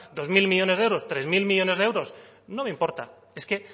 dos mil millónes de euros tres mil millónes de euros no me importa es que